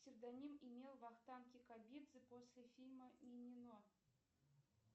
псевдоним имел вахтанг кикабидзе после фильма мимино